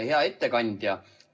Hea ettekandja!